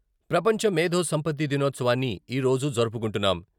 ప్రపంచ మేథో సంపత్తి దినోత్సవాన్ని ఈరోజు జరుపుకుంటున్నాం.